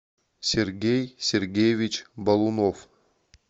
сергей сергеевич балунов